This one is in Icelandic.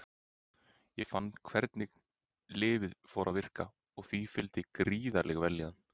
Ég fann hvernig lyfið fór að virka og því fylgdi gríðarleg vellíðan.